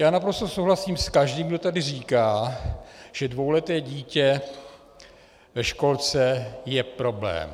Já naprosto souhlasím s každým, kdo tady říká, že dvouleté dítě ve školce je problém.